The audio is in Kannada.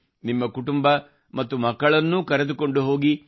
ನಿಮ್ಮ ಕುಟುಂಬ ಮತ್ತು ಮಕ್ಕಳನ್ನು ಕರೆದುಕೊಂಡು ಹೋಗಿ